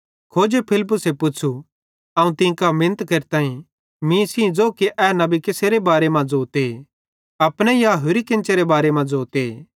खोजे फिलिप्पुसे पुच़्छ़ू अवं तीं कां मिनत केरतां मीं सेइं ज़ो कि ए नबी कसेरे बारे मां ज़ोते अपने या होरि केन्चेरे बारे मां ज़ोते